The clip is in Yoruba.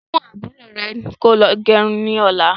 Mú àbúrò rẹ lọ gẹrun ni ọ̀la.